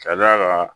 Ka d'a kan